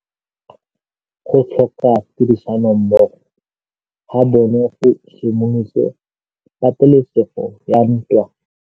Go tlhoka tirsanommogo ga bone go simolotse patêlêsêgô ya ntwa.